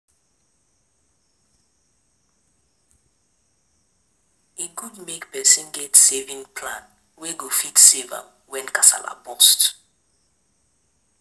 E good make persin get saving plan wey go fit save am when kasala burst